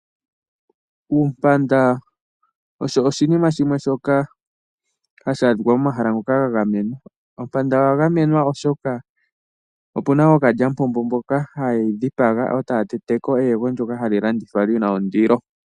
Uumpanda osho oshinima shimwe shoka hashi adhikwa momahala ngoka ga gamenwa. Oompanda odha gamenwa oshoka opuna ookalyamupombo mboka hayedhi dhipaga etaya tete ko eyego ndyoka hali landithwa lina ondilo.